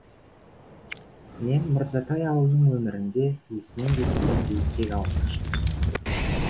мен мырзатай ауылының өмірінде есінен кетпестей кек алмақшымын